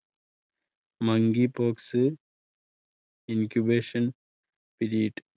monkeypox incubation period